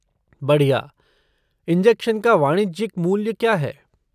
बढ़िया। इंजेक्शन का वाणिज्यिक मूल्य क्या है?